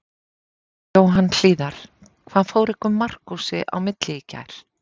Jóhann Hlíðar: Hvað fór ykkur Markúsi á milli í gær?